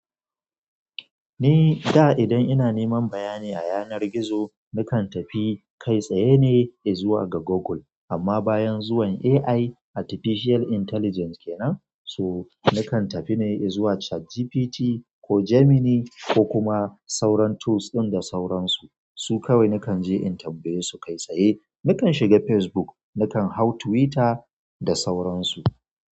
Ni da idan ina neman bayani a yanar gizo, nakan tafi kai tsaye ne i zuwa ga Google. Amma bayan zuwan AI, Artificial Intelligence kenan, so nakan tafi ne in zuwa ChatGPT ko Gemini ko kuma sauran tools ɗin da sauransu. Su kawai nakan je in tambaye su kai tsaye. Nakan shiga Facebook, nakan hau Twitter da sauransu.